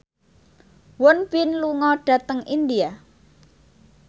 Won Bin lunga dhateng India